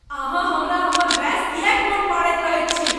अहाँ हमरा हमर बयस किएक मोन पाड़ैत रहैत छी?